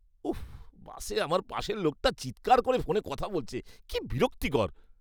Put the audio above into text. উফ, বাসে আমার পাশের লোকটা চিৎকার করে ফোনে কথা বলছে। কী বিরক্তিকর!